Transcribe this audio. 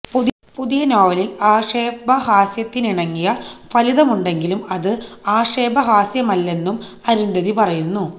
പുതിയ നോവലിൽ ആക്ഷേപ ഹാസ്യത്തിനിണങ്ങിയ ഫലിതമുണ്ടെങ്കിലും അത് ആക്ഷേപഹാസ്യമല്ലെന്നും അരുന്ധതി പറയുന്നു